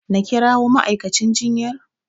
Na kirawo ma'aikacin jinyar?